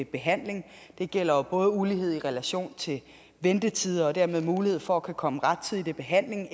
behandling det gælder jo både ulighed i relation til ventetider og dermed mulighed for at komme rettidigt i behandling